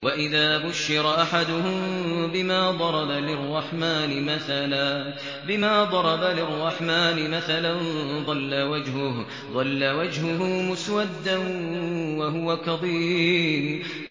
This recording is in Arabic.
وَإِذَا بُشِّرَ أَحَدُهُم بِمَا ضَرَبَ لِلرَّحْمَٰنِ مَثَلًا ظَلَّ وَجْهُهُ مُسْوَدًّا وَهُوَ كَظِيمٌ